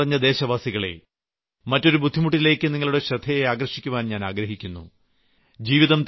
എന്റെ സ്നേഹം നിറഞ്ഞ ദേശവാസികളേ മറ്റൊരു ബുദ്ധിമുട്ടിലേയ്ക്ക് നിങ്ങളുടെ ശ്രദ്ധയാകർഷിക്കുവാൻ ഞാൻ ആഗ്രഹിക്കുന്നു